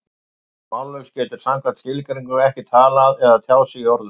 Sá sem er mállaus getur samkvæmt skilgreiningu ekki talað eða tjáð sig í orðum.